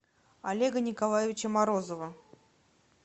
олега николаевича морозова